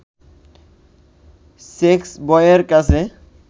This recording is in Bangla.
সেক্সবয়ের কাছে